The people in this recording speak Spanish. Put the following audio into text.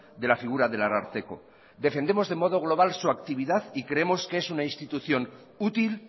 de la figura del ararteko defendemos de modo global su actividad y creemos que es una institución útil